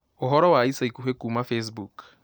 Ũhoro wa ica ikuhĩ kuuma facebook